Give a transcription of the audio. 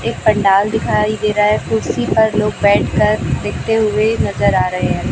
एक पंडाल दिखाई दे रहा है कुर्सी पर लोग बैठकर देखते हुए नजर आ रहे हैं।